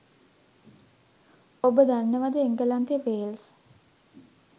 ඔබ දන්නවද එංගලන්තෙ වේල්ස්